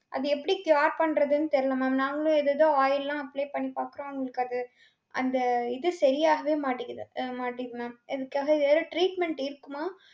அது எப்படி cure பண்றதுன்னு தெரியல mam. நாங்களும் ஏதேதோ oil லாம் apply பண்ணிபார்த்தோம். அவங்களுக்கு அது, அந்த இது சரியாகவே மாட்டிக்குது அ மாட்டிக்குது mam. இதுக்காக வேற treatment இருக்குமா?